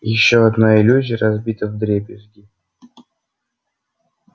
ещё одна иллюзия разбита вдребезги